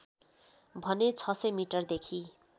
भने ६०० मिटरदेखि